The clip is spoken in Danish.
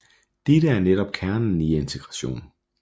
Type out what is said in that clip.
Dette er netop kernen i integration